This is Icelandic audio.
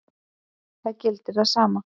Það gildir það sama.